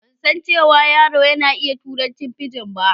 Ban san cewa yaro na ya iƴa turancin fijin ba.